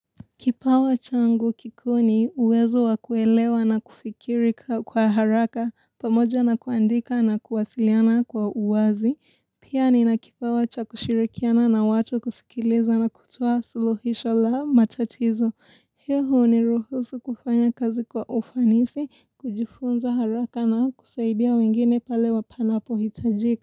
Kipawa changu kikuu ni uwezo wa kuelewa na kufikiri kwa haraka pamoja na kuandika na kuwasiliana kwa uwazi. Pia nina kipawa cha kushirikiana na watu kusikiliza na kutoa suluhisho la matatizo. Hiyo huniruhusu kufanya kazi kwa ufanisi, kujifunza haraka na kusaidia wengine pale panapo hitajika.